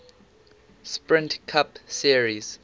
sprint cup series